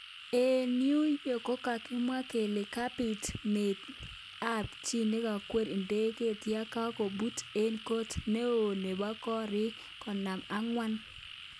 Eng New yorknkokakimwa kele kabit meet ab chi nekweriei ndegeit yakangoput eng kot neo nebo korik konom ak angwan.